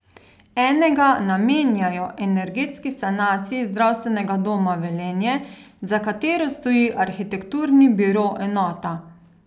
Enega namenjajo energetski sanaciji Zdravstvenega doma Velenje, za katero stoji arhitekturni biro Enota.